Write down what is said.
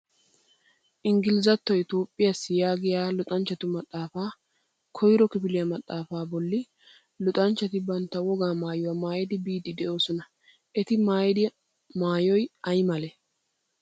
Ingilizattoy Toophiyaassi yaagiyaa luxanchchatu maxaafaa koyiro kifiliyaa maxaafay bolli luxanchchati bantta wogaa maayuwa maayidi biiddi de'oosona. Eti maayido maayoy ayi malati?